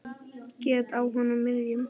Gat á honum miðjum.